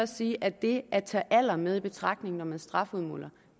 sige at det at tage alder med i betragtning når man strafudmåler